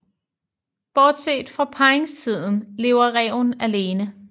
Bortset fra parringstiden lever ræven alene